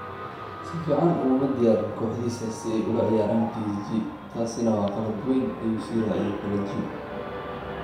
“Si fiican uguma diyaarin kooxdiisa si ay ula ciyaaraan PSG, taasina waa qalad weyn” ayuu sii raaciyay Ballague.